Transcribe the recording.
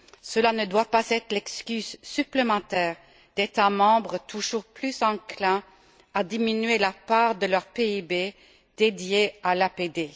Cela ne doit pas être l'excuse supplémentaire d'États membres toujours plus enclins à diminuer la part de leur PIB dédiée à l'APD.